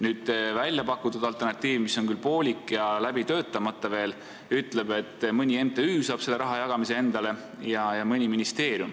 Nüüd, välja pakutud alternatiivi kohaselt, mis on küll poolik ja veel läbi töötamata, saavad mõni MTÜ ja mõni ministeerium selle raha jagamise endale.